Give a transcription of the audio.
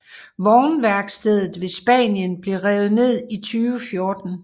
Vognværkstedet ved Spanien blev revet ned i 2014